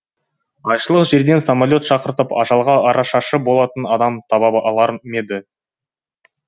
айшылық жерден самолет шақыртып ажалға арашашы болатын адам таба алар ма еді